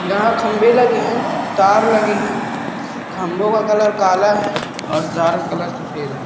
यहां खंभे लगे हैंतार लगे हैं खंभों का कलर काला है और तार का कलर सफेद है।